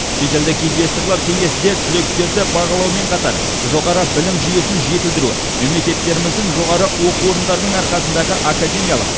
шетелдік инвесторлар кеңесі де түлектерді бағалаумен қатар жоғары білім жүйесін жетілдіру мемлекеттеріміздің жоғары оқу орындарының арқасындағы академиялық